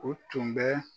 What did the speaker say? O tun bɛ